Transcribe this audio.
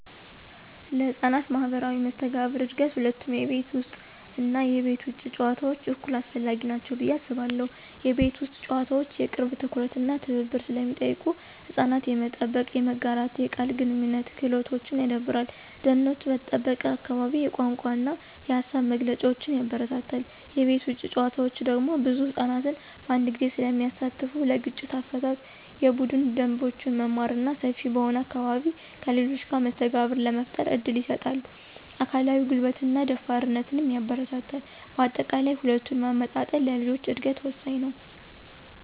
ለሕፃናት ማኅበራዊ መስተጋብር እድገት ሁለቱም የቤት ውስጥ እና የቤት ውጭ ጨዋታዎች እኩል አስፈላጊ ናቸው ብዬ አስባለሁ። የቤት ውስጥ ጨዋታዎች የቅርብ ትኩረት እና ትብብር ስለሚጠይቁ ሕፃናት የመጠበቅ፣ የመጋራትና የቃል ግንኙነት ክህሎቶችን ያዳብራሉ። ደህንነቱ በተጠበቀ አካባቢ የቋንቋ እና የሃሳብ መግለጫን ያበረታታል። የቤት ውጭ ጨዋታዎች ደግሞ ብዙ ሕፃናትን በአንድ ጊዜ ስለሚያሳትፉ ለግጭት አፈታት፣ የቡድን ደንቦችን መማር እና ሰፊ በሆነ አካባቢ ከሌሎች ጋር መስተጋብር ለመፍጠር እድል ይሰጣል። አካላዊ ጉልበትንና ደፋርነትንም ያበረታታል። በአጠቃላይ፣ ሁለቱን ማመጣጠን ለልጆች እድገት ወሳኝ ነው።